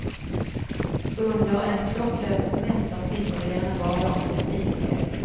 Under en klocklös semester slipper vi denna vardagliga tidspress.